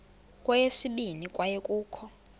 kweyesibini kwaye kukho